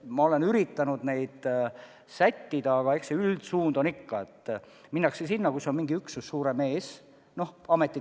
Ma olen üritanud neid sättida, aga eks üldsuund on ikka, et minnakse sinna, kus on mingi suurem üksus ees.